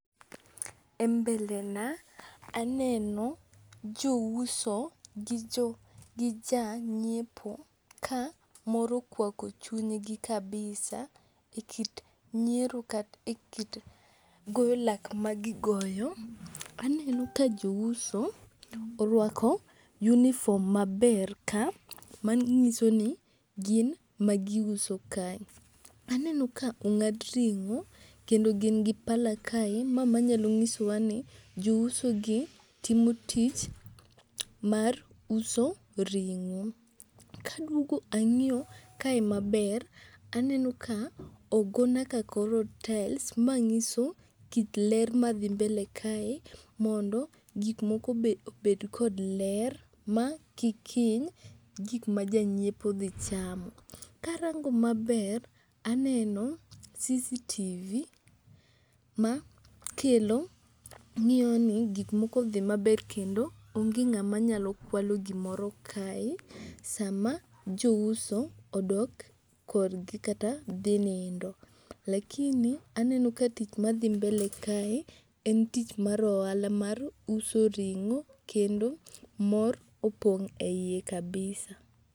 E mbele na aneno jouso gi jo gi ja ng'iepo ka moro okwako chunygi kabisa e kit nyiero kata e kit goyo lak ma gigoyo. Aneno ka jouso orwako uniform maber ka, manyiso ni gin ma giuso ka. Aneno ka ong'ad ring'o kendo gin gi pala kae mae manyalo nyiso wa ni jouso gi timo tich mar uso ring'o. Kaduogo ang'iyo kae maber, aneno ka ogona ka koro taels .Ma ng'iso kit ler ma dhi mbele kae mondo gik moko obe obed kod ler ma kik hiny gik ma jang'iepo dhi chamo. Karango maber aneno CCTV ma kelo ng'iyo ni gik moko odhi maber kendo onge ng'ama nyalo kwalo gimoro kae sama jouso odok korgi kata dhi nindo lakini aneno ka tich madhi mbele kae en tich mar ohala mar uso ring'o kendo mor opong' e iye kabisa